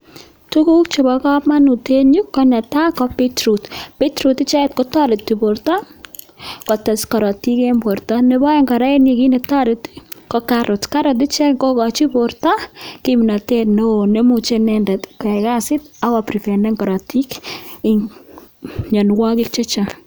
Tukuk chebokomonut en yuu ko netaa ko bitroot, bitroot icheket kotoreti borto kotes korotik en borto, nebo oeng kora en yuu kiit netoreti ko karit, karot icheket kokochin borto kimnotet neoo nemuche inendet koyai kasit ak ko priventen korotik en mionwokik chechang.